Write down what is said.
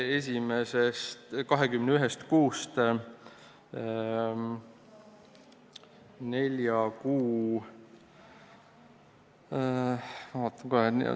Ma kohe vaatan ...